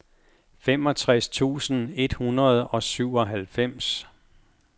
femogtres tusind et hundrede og syvoghalvfems